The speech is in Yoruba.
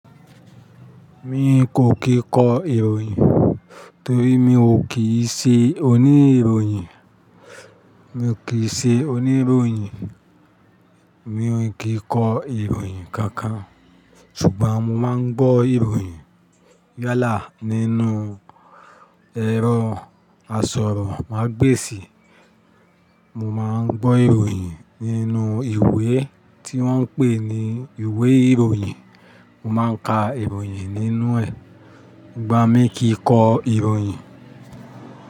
Mi kò kìí kọ ìròyìn torí mi ò kíì ṣe oníròyìn. Mi ò kíì ṣe oníròyìn, mi ò kíì kọ ìròyìn kankan. Ṣùgbọ́n mo máa ń gbọ́ ìròyìn. Yálà nínú ẹ̀rọ asọ̀rọ̀ màá gbèsì, mo máa ń gbọ́ ìròyìn nínú ìwé tí wọ́n ń pè ní ìwé ìròyìn, mo máa ń ka ìròyìn nínú ẹ̀. Ìgbà mí kì í kọ ìròyìn.